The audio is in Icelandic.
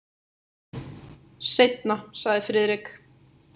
Seinna sagði Friðrik.